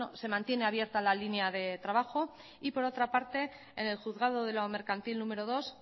se mantiene abierta la línea de trabajo y por otra parte en el juzgado de lo mercantil número dos